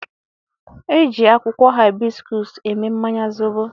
E ji akwukwo hibiscus eme mmanya zobo